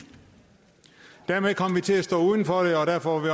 dermed kom vi til at stå uden for det og derfor var